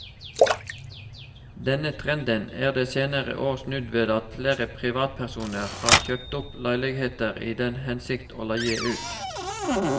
Denne trenden er de senere år snudd ved at flere privatpersoner har kjøpt opp leiligheter i den hensikt å leie ut.